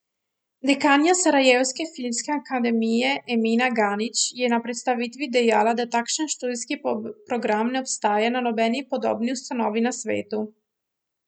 Dekanja Sarajevske filmske akademije Emina Ganić je na predstavitvi dejala, da takšen študijski program ne obstaja na nobeni podobni ustanovi na svetu.